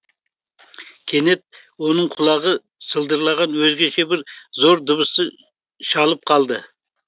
кенет оның құлағы сылдырлаған өзгеше бір зор дыбысты шалып қалды